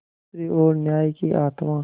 दूसरी ओर न्याय की आत्मा